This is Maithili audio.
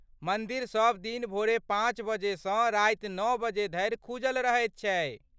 मन्दिर सब दिन भोरे पाँच बजे सँ राति नओ बजे धरि खुजल रहैत छै।